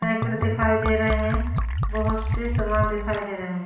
पैकर दिखाई दे रहे हैं बहुत से सामान दिखाई दे रहे हैं --